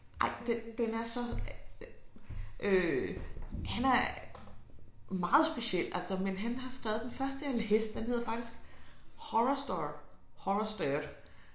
Ej den den er så øh han er meget speciel altså men han har skrevet den første jeg læste den hedder faktisk horrorstor horrorstör